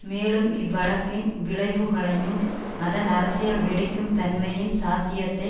மேலும் இவ்வழக்கின் விளைவுகளையும் அதன் அரசியல் வெடிக்கும் தன்மையின் சாத்தியத்தை